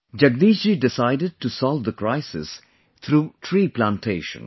Jagdish ji decided to solve the crisis through tree plantation